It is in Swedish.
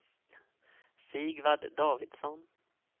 Sigvard Davidsson